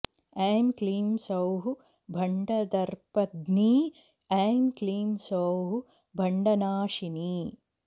ऐं क्लीं सौः भण्डदर्पघ्नी ऐं क्लीं सौः भण्डनाशिनी